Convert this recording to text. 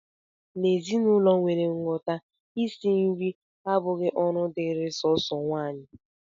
N'ezinụlọ nwere nghọta, isi nri abụghị ọrụ dịịrị sọọsọ nwaanyị